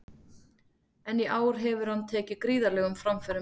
En í ár hefur hann tekið gríðarlegum framförum.